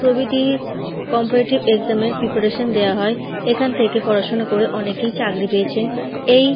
প্রভৃতি comparative exam এর preparation দেওয়া হয় এখন থেকে পড়াশোনা করে অনেকে চাকরি পেয়েছেন এই--